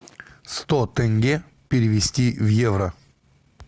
сто тенге перевести в евро